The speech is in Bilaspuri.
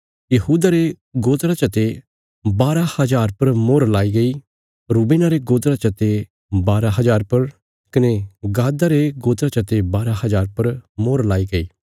यहूदा रे गोत्रा चते बारा हज़ार पर मोहर लाई गई रूबेना रे गोत्रा चते बारा हज़ार पर कने गादा रे गोत्रा चते बारा हज़ार पर मोहर लाई गई